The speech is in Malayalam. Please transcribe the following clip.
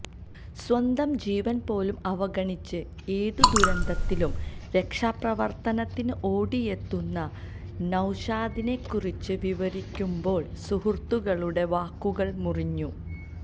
സ്വന്തം ജീവന് പോലും അവഗണിച്ച് ഏത് ദുരന്തത്തിലും രക്ഷാപ്രവര്ത്തനത്തിന് ഓടിയെത്തുന്ന നൌശാദിനെക്കുറിച്ച് വിവരിക്കുമ്പോള് സുഹൃത്തുക്കളുടെ വാക്കുകള് മുറിഞ്ഞു